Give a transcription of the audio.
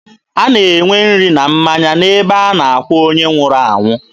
A na-enwe nri na mmanya n'ebe a na-akwa onye nwụrụ anwụ.